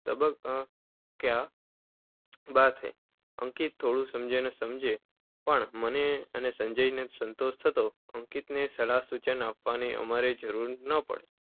ક્યા બાત હૈ! અંકિત થોડું સમજે, ન સમજે. પણ મને અને સંજયને સંતોષ થતો. અંકિતને સલાહ સૂચન આપવાની અમારે જરૂર ન રહે.